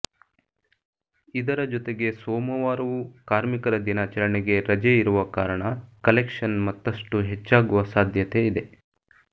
ಇದರ ಜೊತೆಗೆ ಸೋಮವಾರವೂ ಕಾರ್ಮಿಕರ ದಿನಾಚರಣೆಗೆ ರಜೆ ಇರುವ ಕಾರಣ ಕಲೆಕ್ಷನ್ ಮತ್ತಷ್ಟು ಹೆಚ್ಚಾಗುವ ಸಾಧ್ಯತೆ ಇದೆ